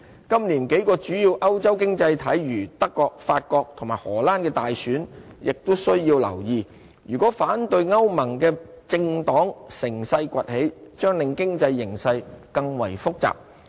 今年幾個主要歐洲經濟體如德國、法國和荷蘭的大選亦需要留意，如果反對歐盟的政黨乘勢崛起，將令經濟形勢更為複雜。